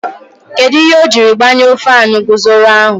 Kedụ ihe o jiri gbanyuo faanu guzoro ahụ?